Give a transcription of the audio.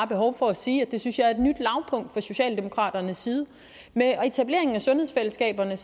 behov for at sige at jeg synes er et nyt lavpunkt fra socialdemokraternes side med etableringen af sundhedsfællesskaberne